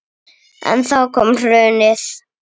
En þá kom hrunið.